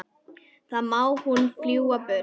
Þá má hún fljúga burtu.